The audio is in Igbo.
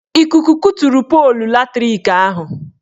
Ikuku kuturu polu latrik ahụ.